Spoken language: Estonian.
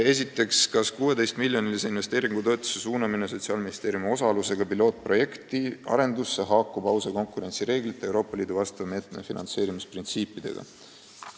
Esiteks: "Kas 16-miljonilise investeeringutoetuse suunamine Sotsiaalministeeriumi osalusega pilootprojekti arendusse haakub ausa konkurentsi reeglite ja Euroopa Liidu vastava meetme finantseerimisprintsiipidega?